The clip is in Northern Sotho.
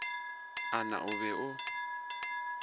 a na o be o